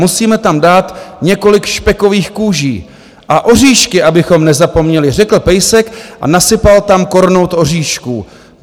Musíme tam dát několik špekových kůží a oříšky, abychom nezapomněli, řekl pejsek a nasypal tam kornout oříšků.